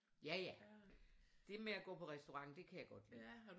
Ja ja det med at gå på restaurant det kan jeg godt lide